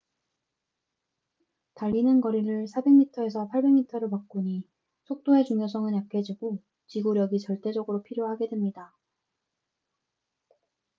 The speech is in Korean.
달리는 거리를 사백 미터에서 팔백 미터로 바꾸니 속도의 중요성은 약해지고 지구력이 절대적으로 필요하게 됩니다